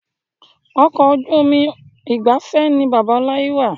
Ọkọ̀ ojú omi ìgbafẹ́ ni bàbá láyi ra